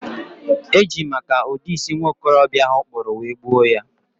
e jiri maka ụdị isi nwokorobịa ahụ kpụrụ wee gbuo ya.